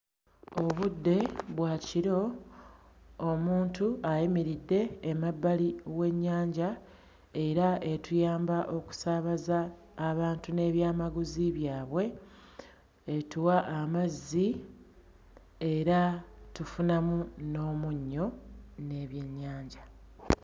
Obudde bwa kiro. Omuntu ayimiridde emabbali w'ennyanja era etuyamba okusaabaza abantu n'ebyamaguzi byabwe, etuwa amazzi, era tufunamu n'omunnyo n'ebyennyanja.